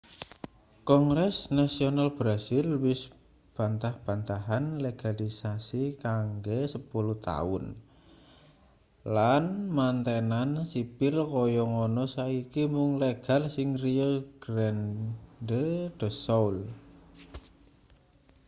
kongres nasional brasil wis bantah-bantahan legalisasi kanggo 10 taun lan mantenan sipil kaya ngono saiki mung legal ing rio grande do sul